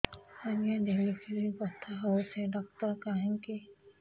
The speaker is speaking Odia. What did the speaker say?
ଆଜ୍ଞା ଡେଲିଭରି ବଥା ହଉଚି ଡାକ୍ତର କାହିଁ କି